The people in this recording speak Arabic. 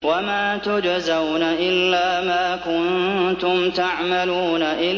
وَمَا تُجْزَوْنَ إِلَّا مَا كُنتُمْ تَعْمَلُونَ